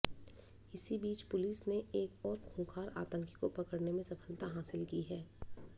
इसी बीच पुलिस ने एक और खूंखार आतंकी को पकड़ने में सफलता हासिल की है